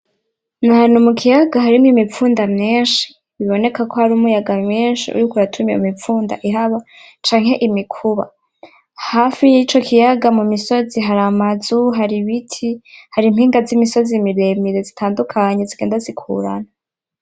Nahantu mukiyaga harimwo imipfunda myinshi bibonekako hari umuyaga mwinshi uriko uratuma iyo mipfunda ihaba canke imikuba hafi yico kiyaga , hari imisozi, amazu ,ibiti hari impinga zimisozi miremire zitandukanye zigenda zikuranwa .